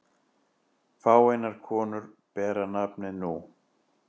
Fáeinar konur bera nafnið nú.